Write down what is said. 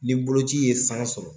Ni boloci ye san sɔrɔ